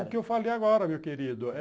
É o que eu falei agora, meu querido.